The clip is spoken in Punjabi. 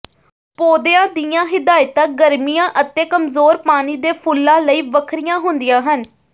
ਪੌਦਿਆਂ ਦੀਆਂ ਹਿਦਾਇਤਾਂ ਗਰਮੀਆਂ ਅਤੇ ਕਮਜ਼ੋਰ ਪਾਣੀ ਦੇ ਫੁੱਲਾਂ ਲਈ ਵੱਖਰੀਆਂ ਹੁੰਦੀਆਂ ਹਨ